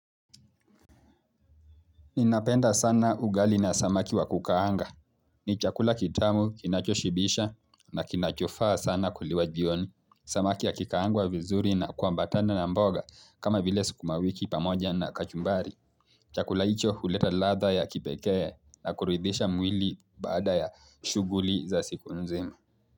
Ninapenda sana ugali na samaki wa kukaanga. Ni chakula kitamu kinachoshibisha na kinachofaa sana kuliwa jioni. Samaki yakikaangwa vizuri na kuambatana na mboga kama vile sukumawiki pamoja na kachumbari. Chakula hicho huleta ladha ya kipekee na kuridhisha mwili baada ya shughuli za siku nzima.